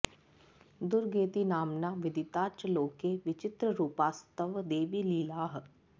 दुर्गेति नाम्ना विदिता च लोके विचित्ररूपास्तव देवि लीलाः